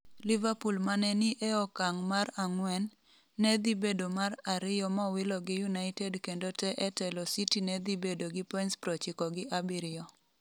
Liverpool mane ni e okang' mar ang'wen, nedhibedo mar ariyo mowilo gi United kendo tee etelo City nedhibedo gi points 97.